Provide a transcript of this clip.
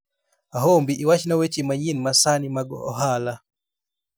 ahombi iwachna weche manyien ma sani mag ohala